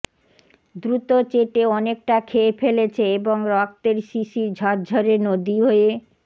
দ্রুত চেটে অনেকটা খেয়ে ফেলেছে এবং রক্তের শিশির ঝরঝরে নদী হয়ে